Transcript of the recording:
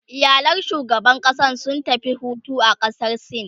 iyalan shugaban ƙasan sun tafi Hutu a ƙasar sin